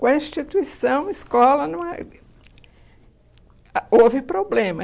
Com a instituição, escola, não houve, a houve problema.